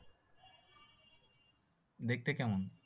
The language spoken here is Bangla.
দেখতে কেমন?